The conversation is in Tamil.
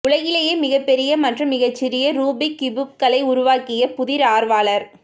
உலகிலேயே மிகப்பெரிய மற்றும் மிகச்சிறிய ரூபிக் கியூப்களை உருவாக்கிய புதிர் ஆர்வலர்